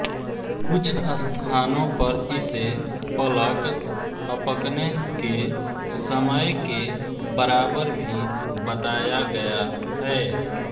कुछ स्थानों पर इसे पलक ़अपकने के समय के बराबर भी बताया गया है